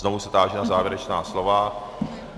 Znovu se táži na závěrečná slova.